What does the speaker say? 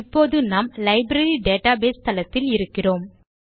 இப்போது நாம் library database தளத்தில் இருக்கிறோம்